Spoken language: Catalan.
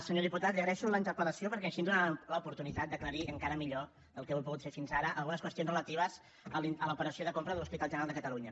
senyor diputat li agraeixo la interpel·lació perquè així ens dóna l’oportunitat d’aclarir encara millor del que ho he pogut fer fins ara algunes qüestions relatives a l’operació de compra de l’hospital general de catalunya